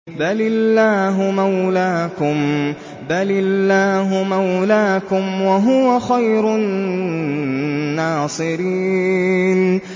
بَلِ اللَّهُ مَوْلَاكُمْ ۖ وَهُوَ خَيْرُ النَّاصِرِينَ